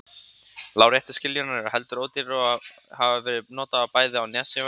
Láréttu skiljurnar eru heldur ódýrari og hafa verið notaðar bæði á Nesjavöllum og í